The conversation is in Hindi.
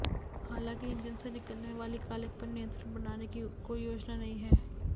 हालांकि इंजन से निकलने वाली कालिख पर नियंत्रण बनाने की कोई योजना नहीं है